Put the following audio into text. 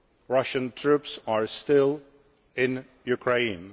Russian troops are still in Ukraine